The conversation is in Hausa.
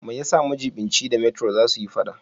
Me yasa majiɓinci da metro za su yi fada?